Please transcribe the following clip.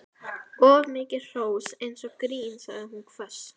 Of mikið hrós virkar eins og grín sagði hún hvöss.